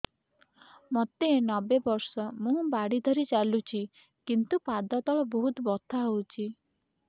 ମୋତେ ନବେ ବର୍ଷ ମୁ ବାଡ଼ି ଧରି ଚାଲୁଚି କିନ୍ତୁ ପାଦ ତଳ ବହୁତ ବଥା ହଉଛି